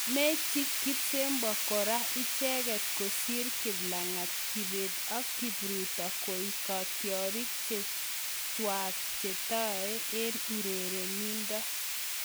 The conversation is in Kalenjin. Mechi kipsebwo kora icheket kosir Kiplagat, kibet ak kipruto koek katyarik chechwak chetai eng urerindo